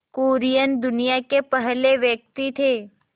कुरियन दुनिया के पहले व्यक्ति थे